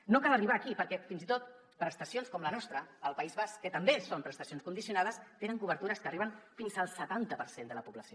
no cal arribar aquí perquè fins i tot prestacions com la nostra al país basc que també són prestacions condicionades tenen cobertures que arriben fins al setanta per cent de la població